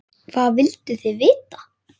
Hvað vilduð þið vita?